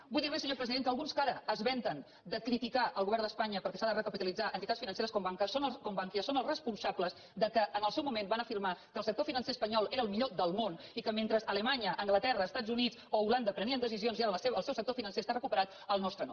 vull dir li senyor president que alguns que ara es vanten de criticar el govern d’espanya perquè s’han de recapitalitzar entitats financeres com bankia són els responsables que en el seu moment van afirmar que el sector financer espanyol era el millor del món i que mentre alemanya anglaterra els estats units o holanda prenien decisions i ara el seu sector financer està recuperat el nostre no